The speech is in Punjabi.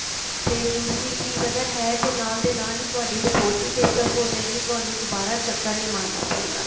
ਤੇ ਦੂਸਰੀ ਚੀਜ਼ ਅਗਰ ਹੈ ਤੇ ਨਾਲ ਦੇ ਨਾਲ ਹੀ ਤੁਹਾਡੀ report ਵੀ discuss ਹੋਜੇਗੀ ਤੁਹਾਨੂੰ ਦੁਬਾਰਾ ਚੱਕਰ ਨੀ ਮਾਰਨਾ ਪਏਗਾ